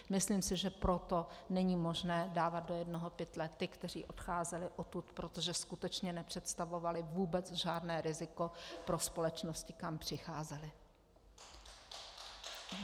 Myslím si, že proto není možné dávat do jednoho pytle ty, kteří odcházeli odtud, protože skutečně nepředstavovali vůbec žádné riziko pro společnosti, kam přicházeli.